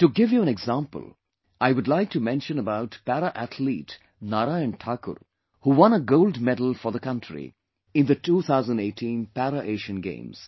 To give you an example, I would like to mention about Para Athlete Narayan Thakur, who won a gold medal for the country in the 2018 Para Asian Games